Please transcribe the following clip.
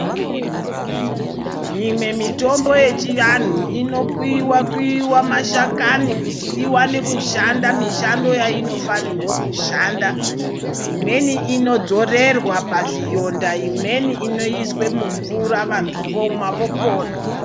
Mumwe mitombo yechianhu inokuyiwa kuyiwa mashakani kuti ione kushanda mishando yainofanirwa kushanda, imweni inodzorerwa pazvironda imweni inoiswa mumvura vantu vomwa vopona.